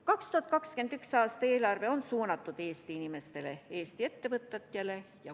2021. aasta eelarve on suunatud Eesti inimestele ja Eesti ettevõtetele.